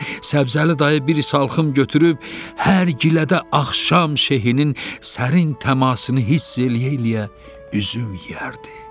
Səbzəli dayı bir salxım götürüb hər gilədə axşam şehinin sərin təmasını hiss eləyə-eləyə üzüm yeyərdi.